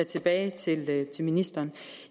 tilbage til ministeren